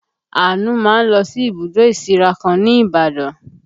Àánú máa ń lọ sí ibùdó ìsíra kan ní Ibadan